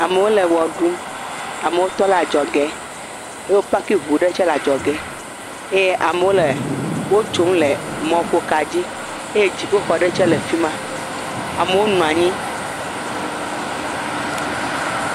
Amewo le ʋe ɖum, amewo tɔ ɖe adzɔge eye wo paki ŋu aɖe tse le adzɔge eye ame aɖewo tse le wotsom le mɔƒoka dzi eye dziƒoxɔ aɖe tse le fi ma.